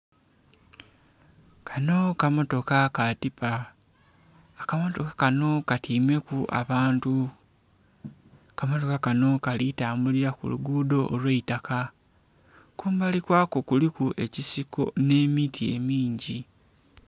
Kano kammotoka ka Tipa. Akammotoka kano katyaimeku abantu. Akammotoka kano kali tambulila ku luguudho olw'eitaka. Kumbali kwako kuliku ekisiko nh'emiti emingi.